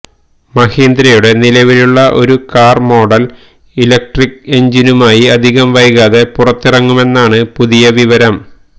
മഹീന്ദ്രയുടെ നിലവിലുള്ള ഒരു car model electric എന്ജിനുമായി അധികം വൈകാതെ പുറത്തിറങ്ങുമെന്നാണ് പുതിയ വിവരം